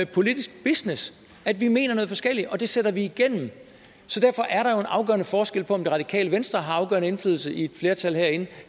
politisk business at vi mener noget forskelligt og sætter det igennem så derfor er der jo en afgørende forskel på om det radikale venstre har afgørende indflydelse på et flertal herinde